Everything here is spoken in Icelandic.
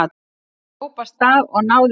Hann hljóp af stað og náði bílnum.